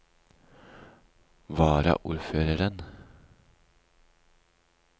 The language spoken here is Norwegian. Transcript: varaordføreren